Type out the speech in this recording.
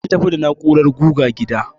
An tafi da na'urar guga gida.